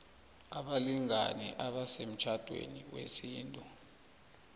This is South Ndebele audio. abalingani abasemtjhadweni wesintu